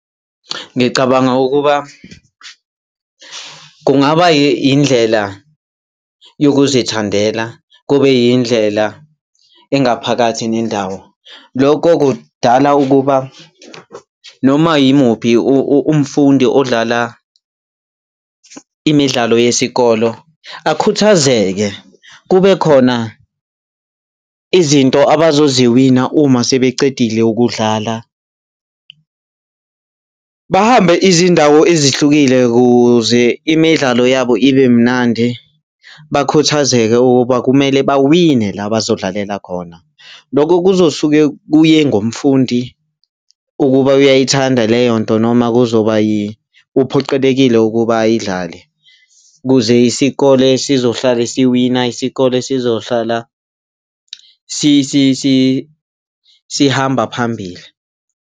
Ngicabanga ukuba kungaba yindlela yokuzithandela kube yindlela engaphakathi nendawo. Lokho kudala ukuba noma yimuphi umfundi odlala imidlalo yesikolo akhuthazake, kube khona izinto abazoziwina uma sebecedile ukudlala, bahambe izindawo ezihlukile kuze imidlalo yabo ibe mnandi, bakhuthazeke ukuba kumele bawine la bazodlalela khona. Lokho kuzosuke kuye ngomfundi ukuba uyayithanda leyo nto noma uphoqelekile ukuba ayidlale. Ukuze isikole sizohlala siwina, isikole sizohlala sihamba phambili.